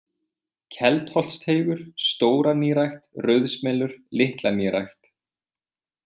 Keldholtsteigur, Stóranýrækt, Rauðsmelur, Litlanýrækt